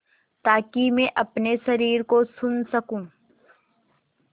ताकि मैं अपने शरीर को सुन सकूँ